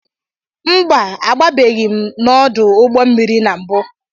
Mba agbabeghị m n'odu ụgbọ mmiri na mbụ.